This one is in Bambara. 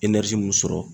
mun sɔrɔ